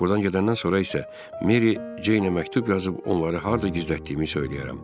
Buradan gedəndən sonra isə Mary Jane-ə məktub yazıb onları harda gizlətdiyimi söyləyərəm.